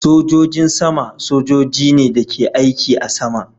Sogojin saman sojojin ne da ke aiki a sama